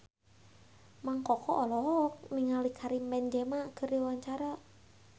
Mang Koko olohok ningali Karim Benzema keur diwawancara